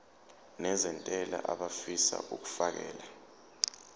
nezentela abafisa uukfakela